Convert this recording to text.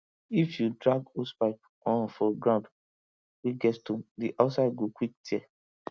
if you drag hosepipe um for ground wey get stone the outside go quick tear